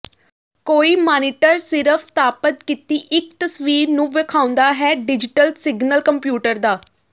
ਕੋਈ ਮਾਨੀਟਰ ਸਿਰਫ ਸਥਾਪਤ ਕੀਤੀ ਇੱਕ ਤਸਵੀਰ ਨੂੰ ਵੇਖਾਉਦਾ ਹੈ ਡਿਜ਼ੀਟਲ ਸਿਗਨਲ ਕੰਪਿਊਟਰ ਦਾ